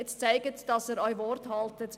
Jetzt zeigen Sie, dass Sie auch Wort halten.